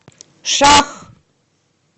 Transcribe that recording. шах